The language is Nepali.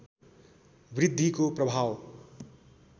वृद्धिको प्रभाव